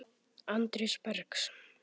Andrés Bergs.